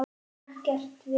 Ekkert vesen!